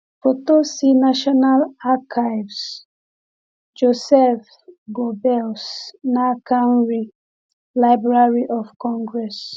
Foto si National Archives; Joseph Göbbels, n’aka nri: Library of Congress